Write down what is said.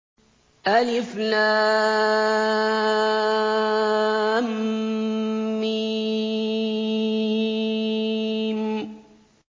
الم